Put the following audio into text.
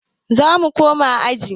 Zamu koma aji